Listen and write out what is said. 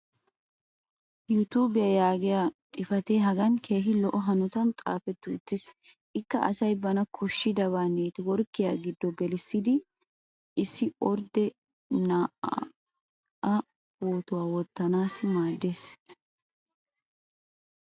"youtube" yaagiya xifatee hagan keehi lo'o hanottan xaafetti uttiis. ikka asay bana koshidabaa neeti workkiya giddo gelidi issi ordde na"aa pootuwa wottanaassi maadees.